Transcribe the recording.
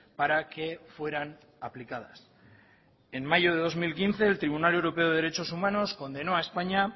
para que fueran aplicadas en mayo de dos mil quince el tribunal europeo de derechos humanos condenó a españa